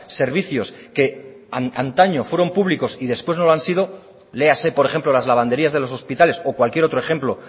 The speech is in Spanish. servicios que antaño fueron públicos y después no lo han sido léase por ejemplo las lavanderías de los hospitales o cualquier otro ejemplo